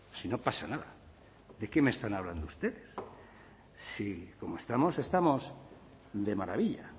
si no pasa nada de qué me están hablando ustedes si como estamos estamos de maravilla